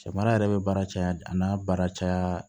Samara yɛrɛ bɛ baara caya a n'a baara caya